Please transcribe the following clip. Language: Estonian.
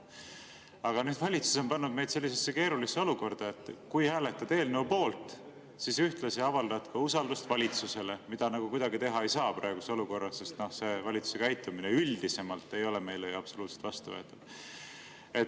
Aga nüüd on valitsus pannud meid keerulisse olukorda: kui hääletada eelnõu poolt, siis ühtlasi avaldad usaldust valitsusele, mida nagu kuidagi teha ei saa praeguses olukorras, sest valitsuse käitumine üldisemalt ei ole meile ju absoluutselt vastuvõetav.